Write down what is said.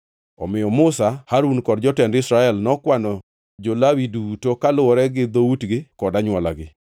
Omiyo Musa, Harun kod jotend Israel nokwano jo-Lawi duto kaluwore gi dhoutgi kod anywolagi.